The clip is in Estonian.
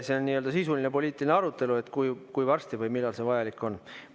See on sisuline poliitiline arutelu, kui varsti või millal see vajalik on.